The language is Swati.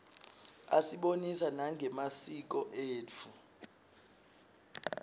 asibonisa nangemasiko etfu